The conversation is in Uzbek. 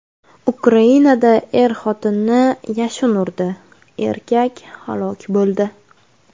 Ukrainada er-xotinni yashin urdi, erkak halok bo‘ldi.